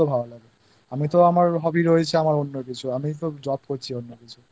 করতেই পারি তো আমার সেটা ভালো লাগবে আমার তো Hobby রয়েছে অন্য কিছু আমি তো Job করছি